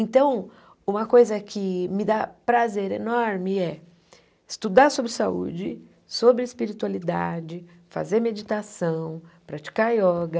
Então, uma coisa que me dá prazer enorme é estudar sobre saúde, sobre espiritualidade, fazer meditação, praticar ioga.